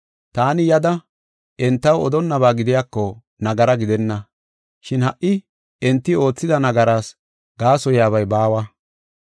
Taani yada entaw odonnaba gidiyako nagara gidenna. Shin ha77i enti oothida nagaraas gaasoyabay baawa.